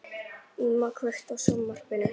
Íma, kveiktu á sjónvarpinu.